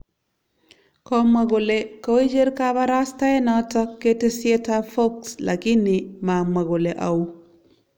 Komwa kole koicher kabarastaenoto ketesyetab Fox lakini mamwo kole au